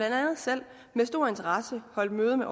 andet selv med stor interesse holdt møde med